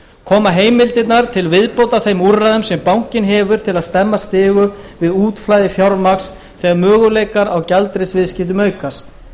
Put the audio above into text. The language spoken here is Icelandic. koma heimildirnar til viðbótar þeim úrræðum sem bankinn hefur til að stemma stigu við útflæði fjármagns þegar möguleikar á gjaldeyrisviðskiptum aukast